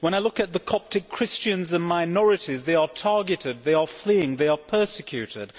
When I look at the Coptic Christians and minorities, they are targeted, they are fleeing, they are persecuted.